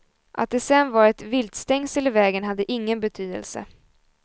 Att det sedan var ett viltstängsel i vägen hade ingen betydelse.